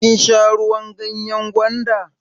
Kin sha ruwan ganyan gwanda?